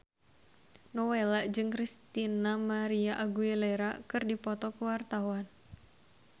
Nowela jeung Christina María Aguilera keur dipoto ku wartawan